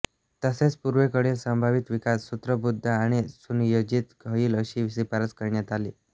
तसेच पूर्वेकडील संभावित विकास सूत्रबद्ध आणि सुनियोजित होईल अशी शिफारस करण्यात आली